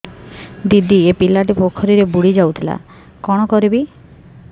ଦିଦି ଏ ପିଲାଟି ପୋଖରୀରେ ବୁଡ଼ି ଯାଉଥିଲା କଣ କରିବି